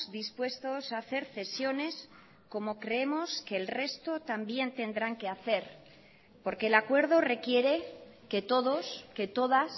dispuestos hacer cesiones como creemos que el resto también tendrán que hacer porque el acuerdo requiere que todos que todas